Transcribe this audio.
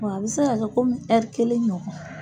Wa a bɛ se ka kɛ komi kelen ɲɔgɔn.